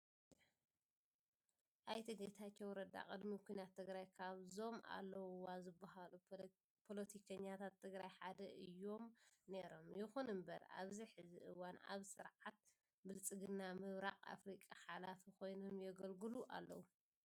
ኣይተ ጌታቸው ረዳ ቅድሚ ኩናት ትግራይ ካብዞም ኣለዉዋ ዝብሃሉ ፖለቲከናታት ትግራይ ሓደ እዩም ነይሮም። ይኹን እምበር ኣብዚ ሕዚ እዋን ኣብ ስርዓት ብልፅግና ምብራቅ ኣፍሪካ ሓላፊ ኮይኖም የገልግሉ ኣለው።